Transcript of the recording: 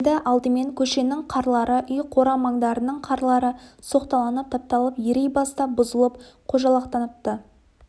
енді алдымен көшенің қарлары үй қора маңдарының қарлары соқталанып тапталып ери бастап бұзылып қожалақтаныпты